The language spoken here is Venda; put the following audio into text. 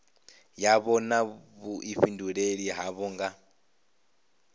yavho na vhuifhinduleli havho nga